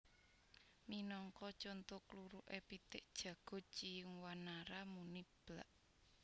Minangka conto kluruké pitik jago Ciung Wanara muni Blak